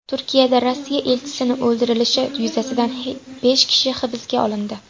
Turkiyada Rossiya elchisining o‘ldirilishi yuzasidan besh kishi hibsga olindi.